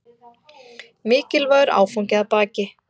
Mikilvægur áfangi að baki